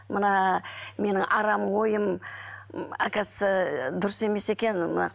мына менің арам ойым м оказывается дұрыс емес екен мына